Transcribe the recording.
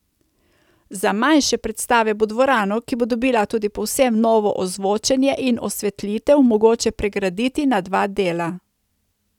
Za manjše predstave bo dvorano, ki bo dobila tudi povsem novo ozvočenje in osvetlitev, mogoče pregraditi na dva dela.